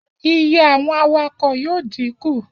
Iye àwọn awakọ̀ yóò díkù